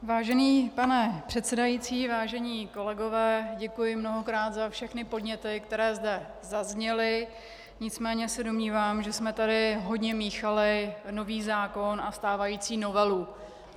Vážený pane předsedající, vážení kolegové, děkuji mnohokrát za všechny podněty, které zde zazněly, nicméně se domnívám, že jsme tady hodně míchali nový zákon a stávající novelu.